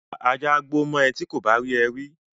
Ajá á gbó mọ ẹ ti kò bá rí ẹ rí